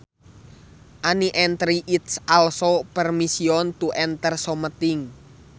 An entry is also permission to enter something